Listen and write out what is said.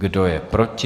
Kdo je proti?